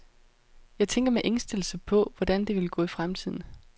Jeg tænker med ængstelse på, hvordan det vil gå i fremtiden.